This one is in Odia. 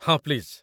ହଁ, ପ୍ଲିଜ୍।